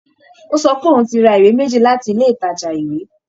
Ó sọ pé òun ti ra ìwé méjì láti ilé ìtajà ìwé